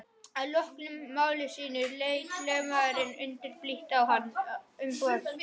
Að loknu máli sínu leit lögmaðurinn undurblítt á umboðsmann konungs.